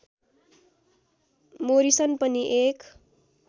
Morrison पनि एक